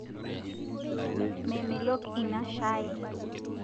Memelok inia shai